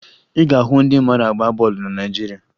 Ị ga-ahụ ndị mara agba bọọlụ na Naịjirịa